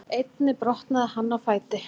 Einnig brotnaði hann á fæti